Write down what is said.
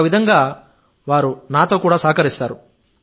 ఒక విధంగా వారు నాతో కూడా సహకరిస్తారు